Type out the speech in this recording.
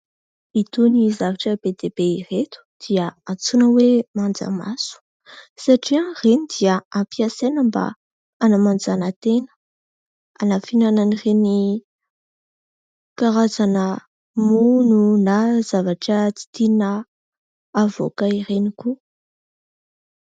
Itony zavatra be dia be ireto dia antsoina hoe manjamaso satria ireny dia ampiasaina mba hanamanjana tena, hanafenana an'ireny karazana mono na zavatra tsy tiana havoaka ireny koa.